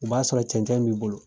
O b'a sɔrɔ cɛncɛn b'i bolo